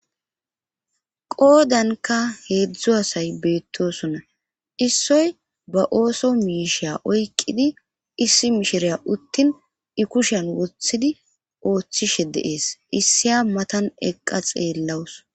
qoodanka heedzdzu asay beettosonna issoy ba ooso miisha oyqidi issi mishiriya uttin i kushan woththidi ooththishe dee'es issiya matan eqqa xeellawus